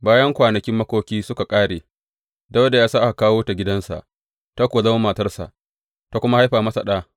Bayan kwanakin makoki suka ƙare, Dawuda ya sa aka kawo ta gidansa, ta kuwa zama matarsa, ta kuma haifa masa ɗa.